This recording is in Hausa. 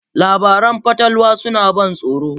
Labaran fatalwa suna ban tsoro.